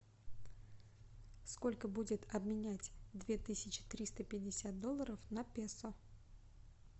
сколько будет обменять две тысячи триста пятьдесят долларов на песо